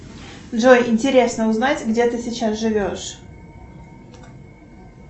джой интересно узнать где ты сейчас живешь